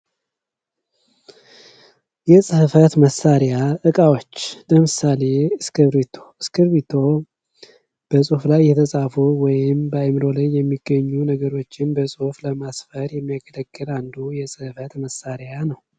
የጽሕፈት መሣሪያ ዕቃዎች ለምሳሌ እስኪርቢቶ እስኪርቢቶ በጽሑፍ ላይ የተጻፉ ወይም በአይምሮ ላይ የሚገኙ ነገሮችን በጽሑፍ ለማስፈር የሚያገለግል አንዱ የጽሕፈት መሣሪያ ነው።